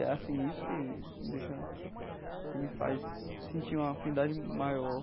É assim isso que que me deixa que me faz sentir uma afinidade maior.